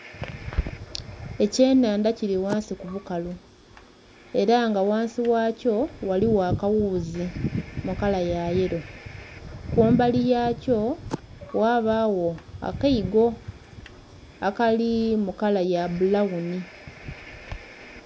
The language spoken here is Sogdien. Ekyenhandha kiri ghansi kubukalu era nga ghansi wakyo ghaligho akawuzi mukala yayelo kumbali ghakyo ghabagho akaigo akali mukala yabbulawuni.